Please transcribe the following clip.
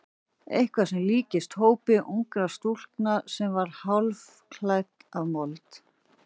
Eitthvað sem líktist hrópi ungrar stúlku sem var hálfkæft af mold.